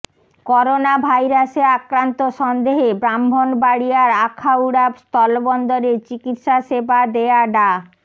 corona ভাইরাসে আক্রান্ত সন্দেহে ব্রাহ্মণবাড়িয়ার আখাউড়া স্থলবন্দরে চিকিৎসা সেবা দেয়া ডা